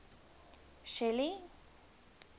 shelly